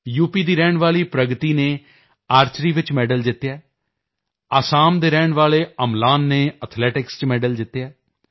ਦੀ ਰਹਿਣ ਵਾਲੀ ਪ੍ਰਗਤੀ ਨੇ ਆਰਚਰੀ ਵਿੱਚ ਮੈਡਲ ਜਿੱਤਿਆ ਹੈ ਅਸਾਮ ਦੇ ਰਹਿਣ ਵਾਲੇ ਅਮਲਾਨ ਨੇ ਐਥਲੈਟਿਕਸ ਚ ਮੈਡਲ ਜਿੱਤਿਆ ਹੈ ਯੂ